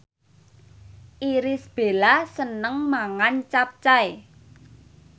Irish Bella seneng mangan capcay